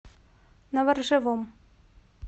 новоржевом